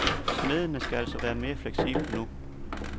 Smedene skal altså være mere fleksible nu.